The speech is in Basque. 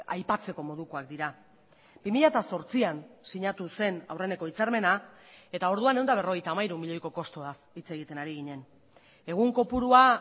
aipatzeko modukoak dira bi mila zortzian sinatu zen aurreneko hitzarmena eta orduan ehun eta berrogeita hamairu milioiko kostuaz hitz egiten ari ginen egun kopurua